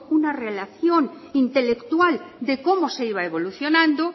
una relación intelectual de cómo se iba evolucionando